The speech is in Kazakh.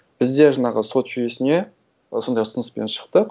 біз де жаңағы сот жүйесіне сондай ұсыныспен шықтық